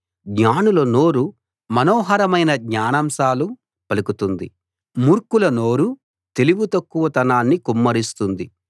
జ్ఞానుల నోరు మనోహరమైన జ్ఞానాంశాలు పలుకుతుంది మూర్ఖుల నోరు తెలివి తక్కువతనాన్ని కుమ్మరిస్తుంది